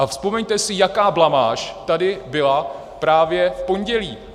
A vzpomeňte si, jaká blamáž tady byla právě v pondělí.